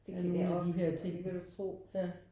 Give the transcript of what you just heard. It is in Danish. Af nogen af de her ting ja